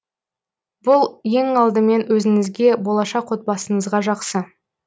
бұл ең алдымен өзіңізге болашақ отбасыңызға жақсы